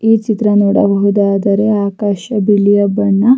ಈ ಚಿತ್ರ ನೋಡಬಹುದಾದರೆ ಆಕಾಶ ಬಿಳಿಯ ಬಣ್ಣ --